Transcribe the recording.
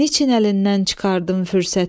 niçin əlindən çıxardın fürsəti,